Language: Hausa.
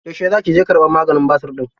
Yaushe za ki je ƙarbar maganin basir ɗin?